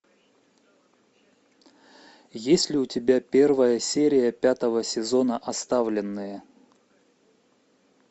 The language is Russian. есть ли у тебя первая серия пятого сезона оставленные